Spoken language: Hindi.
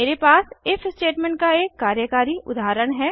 मेरे पास इफ स्टेटमेंट का एक कार्यकारी उदाहरण है